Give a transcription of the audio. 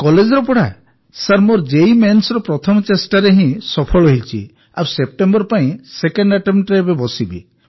କଲେଜର ପଢ଼ା ସାର୍ ମୋର ଜୀ Mainsରେ ପ୍ରଥମ ଚେଷ୍ଟାରେ ହିଁ ସଫଳ ହୋଇଛି ଆଉ ସେପ୍ଟେମ୍ବର ପାଇଁ ସେକେଣ୍ଡ attemptରେ ଏବେ ବସିବି